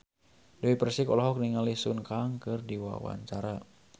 Dewi Persik olohok ningali Sun Kang keur diwawancara